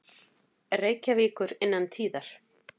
Reykjavíkur innan tíðar.